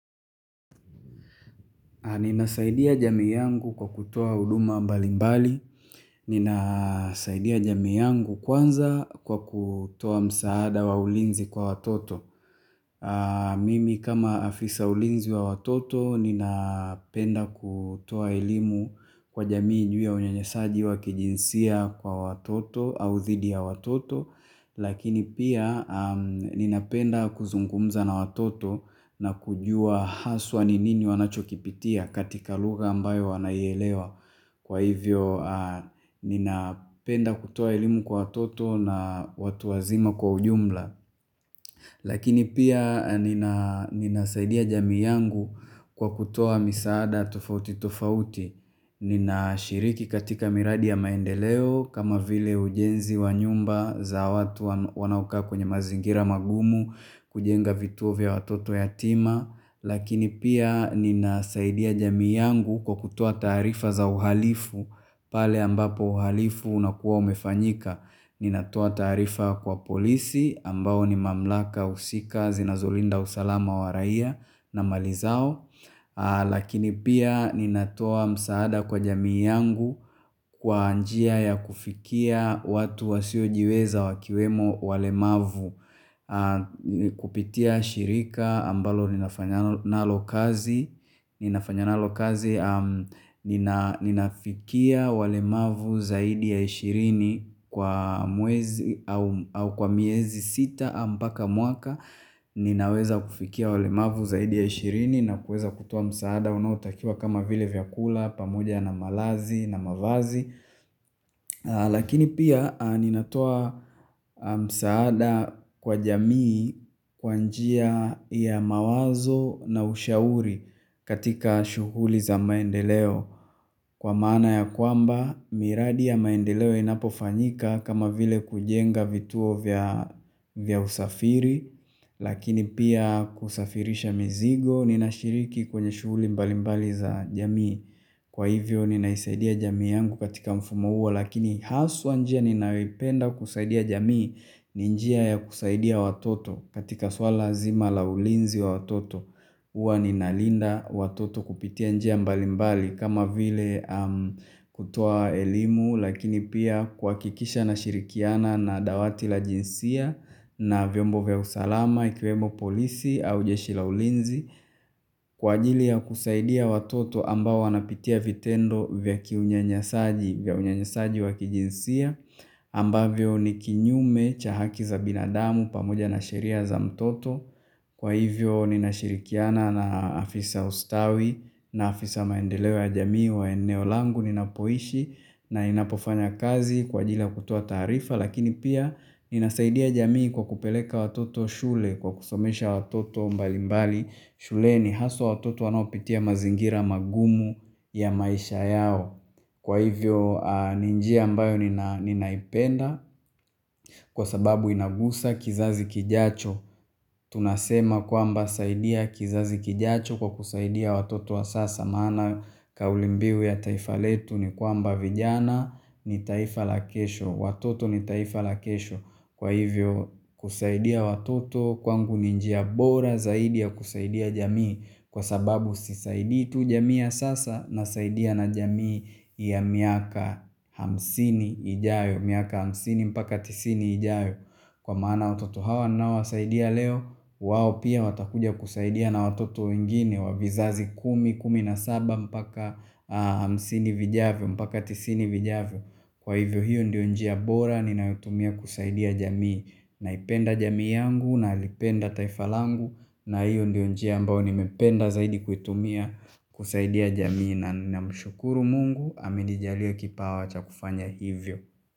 Ninasaidia jamii yangu kwa kutoa huduma mbali mbali. Ninasaidia jamii yangu kwanza kwa kutoa msaada wa ulinzi kwa watoto. Mimi kama afisa ulinzi wa watoto ninapenda kutoa elimu kwa jamii ju ya unyanyasaji wa kijinsia kwa watoto au dhidi ya watoto. Lakini pia ninapenda kuzungumza na watoto na kujua haswa ni nini wanachokipitia katika lugha ambayo wanaielewa. Kwa hivyo ninapenda kutoa elimu kwa watoto na watu wazima kwa ujumla. Lakini pia ninasaidia jamii yangu kwa kutoa misaada tofauti tofauti. Ninashiriki katika miradi ya maendeleo kama vile ujenzi wa nyumba za watu wanaoka kwenye mazingira magumu kujenga vituo vya watoto yatima. Lakini pia ninasaidia jamii yangu kwa kutoa taarifa za uhalifu pale ambapo uhalifu unakuwa umefanyika. Ninatoa taarifa kwa polisi ambao ni mamlaka husika zinazolinda usalama wa raia na mali zao Lakini pia ninatoa msaada kwa jamii yangu kwa njia ya kufikia watu wasiojiweza wakiwemo walemavu kupitia shirika ambalo ninafanya nalo kazi Ninafanya nalo kazi ninafikia walemavu zaidi ya ishirini kwa mwezi au kwa miezi sita mpaka mwaka Ninaweza kufikia walemavu zaidi ya ishirini na kuweza kutoa msaada unaotakiwa kama vile vyakula pamoja na malazi na mavazi Lakini pia ninatoa msaada kwa jamii kwa njia ya mawazo na ushauri katika shughuli za maendeleo Kwa maana ya kwamba miradi ya maendeleo inapofanyika kama vile kujenga vituo vya usafiri Lakini pia kusafirisha mizigo ninashiriki kwenye shughuli mbali mbali za jamii Kwa hivyo ninaisaidia jamii yangu katika mfumo huo lakini haswa njia ninayoipenda kusaidia jamii ni njia ya kusaidia watoto katika swala nzima la ulinzi wa watoto huwa ninalinda watoto kupitia njia mbali mbali kama vile kutoa elimu lakini pia kwa kuhakikisha na shirikiana na dawati la jinsia na vyombo vya usalama, ikiwemo polisi au jeshi la ulinzi kwa ajili ya kusaidia watoto ambao wanapitia vitendo vya kiunyanyasaji wakijinsia ambavyo ni kinyume cha haki za binadamu pamoja na sheria za mtoto kwa hivyo ninashirikiana na afisa wa ustawi na afisa maendeleo ya jamii wa eneo langu ninapoishi na inapofanya kazi kwa ajili ya kutoa taarifa lakini pia Ninasaidia jamii kwa kupeleka watoto shule kwa kusomesha watoto mbalimbali shuleni haswa watoto wanaopitia mazingira magumu ya maisha yao Kwa hivyo ni njia ambayo ninaipenda kwa sababu inaguza kizazi kijacho tunasema kwamba saidia kizazi kijacho kwa kusaidia watoto wa sasa maana kauli mbivu ya taifa letu ni kwamba vijana ni taifa la kesho Watoto ni taifa la kesho kwa hivyo kusaidia watoto kwangu ni njia bora zaidi ya kusaidia jamii Kwa sababu sisaidi tu jamii ya sasa nasaidia na jamii ya miaka hamsini ijayo miaka hamsini mpaka tisini ijayo Kwa maana watoto hawa ninaowasaidia leo wao pia watakuja kusaidia na watoto wengine wa vizazi kumi kumi na saba mpaka hamsini vijavyo mpaka tisini vijavyo Kwa hivyo hiyo ndio njia bora ninayoitumia kusaidia jamii naipenda jamii yangu nalipenda taifa langu na hiyo ndio njia ambayo nimependa zaidi kuitumia kusaidia jamii na namshukuru mungu amenijalia kipawa cha kufanya hivyo.